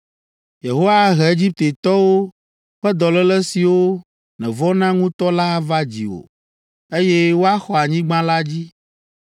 Yehowa ahe Egiptetɔwo ƒe dɔléle siwo nèvɔ̃na ŋutɔ la ava dziwò, eye woaxɔ anyigba la dzi.